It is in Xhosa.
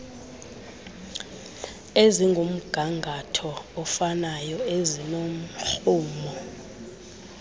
ezingumgangatho ofanayo ezinomrhumo